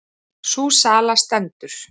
Sú sala stendur.